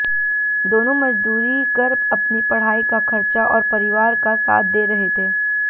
दोनों मजदूरी कर अपनी पढ़ाई का खर्चा और परिवार का साथ दे रहे थे